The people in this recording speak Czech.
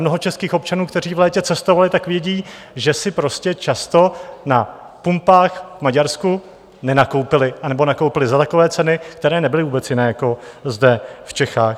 Mnoho českých občanů, kteří v létě cestovali, tak vědí, že si prostě často na pumpách v Maďarsku nenakoupili, anebo nakoupili za takové ceny, které nebyly vůbec jiné jako zde v Čechách.